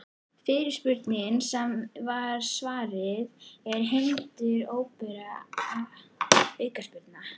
Fyrirspurnir sem var svarað: Er hindrun óbein aukaspyrna?